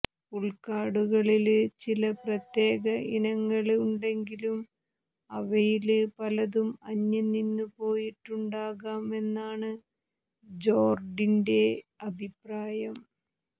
ഉള്ക്കാടുകളില് ചില പ്രത്യേക ഇനങ്ങള് ഉണ്ടെങ്കിലും അവയില് പലതും അന്യം നിന്നുപോയിട്ടുണ്ടാകാം എന്നാണ് ജോര്ഡിന്റെ അഭിപ്രായം